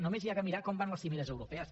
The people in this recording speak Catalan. només s’ha de mirar com van les cimeres europees